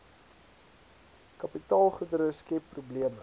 kapitaalgoedere skep probleme